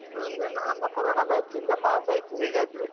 ಇದೊಂದು ನಮ್ಮ corona batch ಇಂದ pass ಆಯ್ತು ಹೇಗಾದ್ರು.